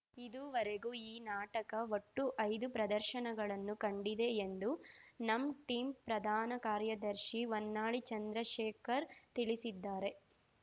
ಇದೂವರೆಗೂ ಈ ನಾಟಕ ಒಟ್ಟು ಐದು ಪ್ರದರ್ಶನಗಳನ್ನು ಕಂಡಿದೆ ಎಂದು ನಮ್‌ ಟೀಮ್‌ ಪ್ರಧಾನ ಕಾರ್ಯದರ್ಶಿ ಹೊನ್ನಾಳಿ ಚಂದ್ರಶೇಖರ್‌ ತಿಳಿಸಿದ್ದಾರೆ